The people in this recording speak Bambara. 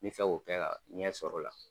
N bɛ fɛ k'o kɛ ka ɲɛ sɔrɔ o la.